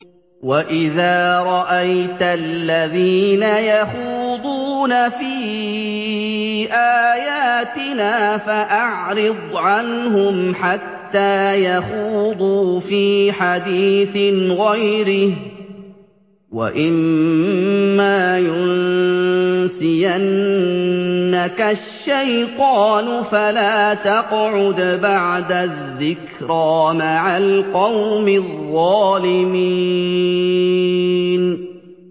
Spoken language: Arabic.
وَإِذَا رَأَيْتَ الَّذِينَ يَخُوضُونَ فِي آيَاتِنَا فَأَعْرِضْ عَنْهُمْ حَتَّىٰ يَخُوضُوا فِي حَدِيثٍ غَيْرِهِ ۚ وَإِمَّا يُنسِيَنَّكَ الشَّيْطَانُ فَلَا تَقْعُدْ بَعْدَ الذِّكْرَىٰ مَعَ الْقَوْمِ الظَّالِمِينَ